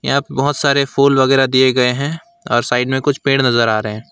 यहां पर बहुत सारे फुल वेंगरा दिए गए हैं और साइड में कुछ पेड़ नजर आ रहे हैं।